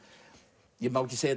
ja má ekki segja